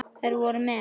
Þær voru með